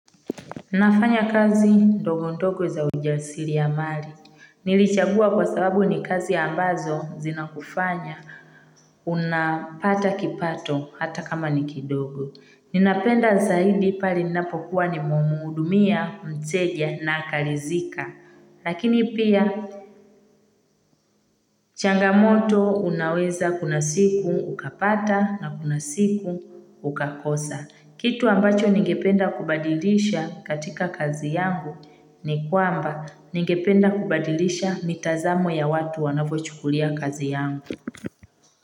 Ninafanya kazi ndogo ndogo za ujasiri ya mali. Nilichagua kwa sababu ni kazi ambazo zina kufanya. Unapata kipato hata kama ni kidogo. Ninapenda zaidi pale ninapokuwa nimemhudumia, mteja na akaridhika. Lakini pia changamoto unaweza kuna siku ukapata na kuna siku ukakosa. Kitu ambacho ningependa kubadilisha katika kazi yangu ni kwamba ningependa kubadilisha mitazamo ya watu wanavyochukulia kazi yangu.